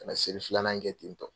Ka na seli filanan kɛ tentɔ.